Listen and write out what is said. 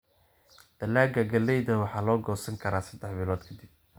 Dalagga galleyda waxa la goosan karaa saddex bilood ka dib.